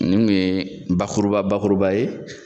Nin kun ye bakuruba bakuruba ye.